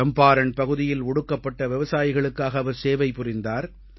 சம்பாரண் பகுதியில் ஒடுக்கப்பட்ட விவசாயிகளுக்காக அவர் சேவை புரிந்தார்